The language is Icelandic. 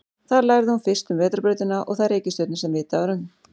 Þar lærði hún fyrst um vetrarbrautina og þær reikistjörnur sem vitað var um.